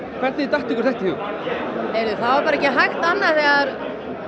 hvernig datt ykkur þetta í hug ekki hægt annað